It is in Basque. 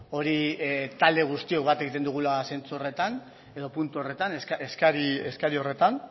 hori talde guztiok bat egiten dugula zentzu horretan edo puntu horretan eskari horretan